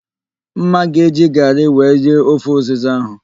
Mma ga eji garị wee rie ofe ụzịza ahụ